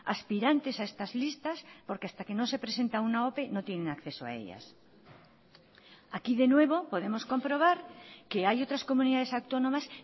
aspirantes a estas listas porque hasta que no se presenta una ope no tienen acceso a ellas aquí de nuevo podemos comprobar que hay otras comunidades autónomas